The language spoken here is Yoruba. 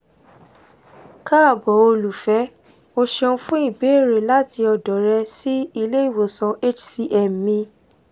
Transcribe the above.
kaabo olufẹ o ṣeun fun ibeere lati ọdọ rẹ si ile-iwosan hcm mi